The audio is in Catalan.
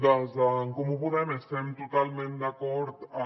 des d’en comú podem estem totalment d’acord en